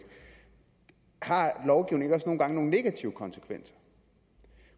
har lovgivning ikke også nogle gange nogle negative konsekvenser